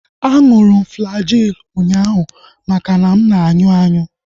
Aṅụrụ m Flagyl ụnyaahụ makana ana m anyụ anyụ